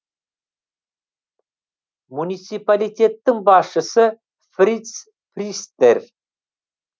муниципалитеттің басшысы фриц пристер